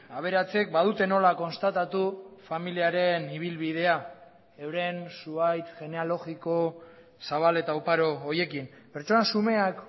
aberatsek badute nola konstatatu familiaren ibilbidea euren zuhaitz genealogiko zabal eta oparo horiekin pertsona xumeak